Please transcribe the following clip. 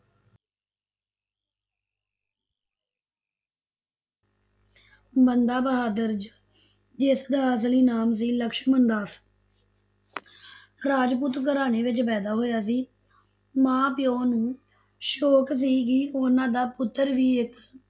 ਬੰਦਾ ਬਹਾਦਰ ਜ~ ਜਿਸਦਾ ਅਸਲੀ ਨਾਮ ਸੀ ਲਛਮਣ ਦਾਸ ਰਾਜਪੂਤ ਘਰਾਣੇ ਵਿਚ ਪੈਦਾ ਹੋਇਆ ਸੀ, ਮਾਂ- ਪਿਓ ਨੂੰ ਸ਼ੋਕ ਸੀ ਕਿ ਉਨ੍ਹਾ ਦਾ ਪੁੱਤਰ ਵੀ ਇੱਕ